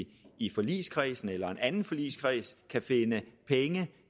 vi i forligskredsen eller i en anden forligskreds kan finde penge